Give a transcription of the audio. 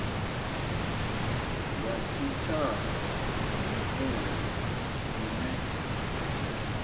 wa tshitshavha na muongi ine